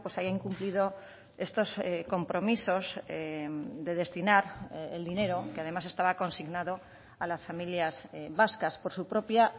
haya incumplido estos compromisos de destinar el dinero que además estaba consignado a las familias vascas por su propia